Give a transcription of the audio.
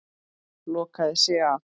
Lokaði sig af.